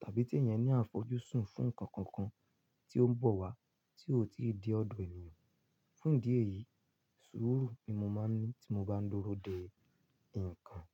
tàbí tí èèyàn ní àfojúsùn fún ǹkan kankan tí ó ń bọ̀ wá tí ó ò tí ì dé ọ̀dọ̀ èèyàn. Fún ìdí èyí, sùúrù ni mo máa ń ní tí mo bá ń dúró de nǹkan.